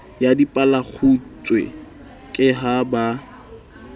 ya dipalekgutshwe ke ha ba